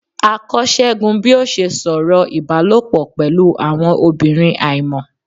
a kọ según bi o ṣe sọ̀rọ̀ ibálopọ pẹlu awọn obirin aimọ.